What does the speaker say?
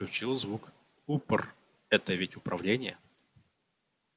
включил звук упр это ведь управление